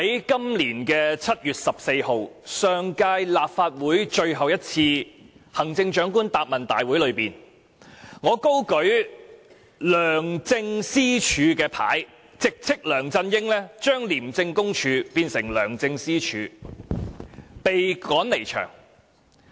今年7月14日，在上屆立法會最後一次行政長官答問會上，我高舉"梁政私署"標語，直斥梁振英把廉政公署變成"梁政私署"，因而被趕離場。